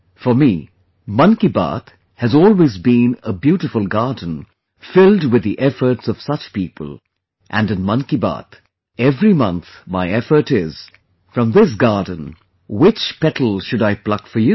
For me 'Mann Ki Baat' has always been a beautiful garden filled with the efforts of such people and in 'Mann Ki Baat', every month my effort is...from this garden, which petal should I pluck for you